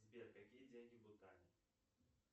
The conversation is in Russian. сбер какие деньги в бутане